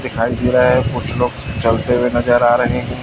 दिखाई दे रहा है कुछ लोग चलते हुए नजर आ रहे हैं।